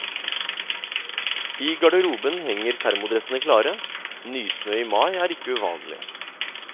I garderoben henger thermodressene klare, nysnø i mai er ikke uvanlig.